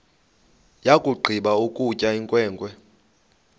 yakugqiba ukutya inkwenkwe